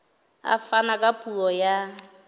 a fana ka puo ya